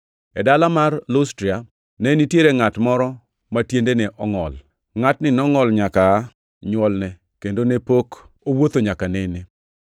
E dala mar Lustra, ne nitiere ngʼat moro ma tiendeni ongʼol. Ngʼatni nongʼol nyaka aa nywolne kendo ne pok owuotho nyaka nene.